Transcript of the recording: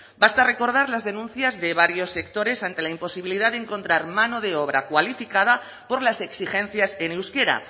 basta recordar las denuncias de varios sectores ante la imposibilidad de encontrar mano de obra cualificada por las exigencias en euskera